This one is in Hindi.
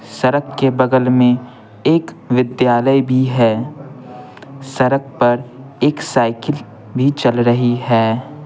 सड़क के बगल में एक विद्यालय भी है सड़क पर एक साइकिल भी चल रही है।